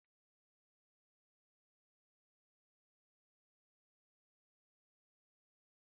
Mgbe mụ na nwanne m nwaanyị na-eme njem okpọro ụzọ anyị na-eji ilu na-ama aka